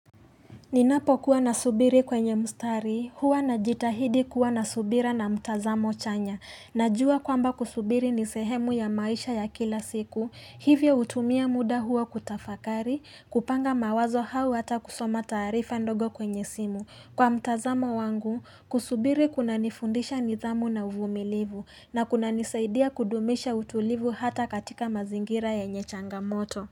Ninapo kuwa na subiri kwenye mustari, huwa na jitahidi kuwa na subira na mtazamo chanya. Najua kwamba kusubiri ni sehemu ya maisha ya kila siku, hivyo hutumia muda huo kutafakari, kupanga mawazo au hata kusoma taarifa ndogo kwenye simu. Kwa mtazamo wangu, kusubiri kuna nifundisha nidhamu na uvumilivu, na kuna nisaidia kudumisha utulivu hata katika mazingira ya nye changamoto.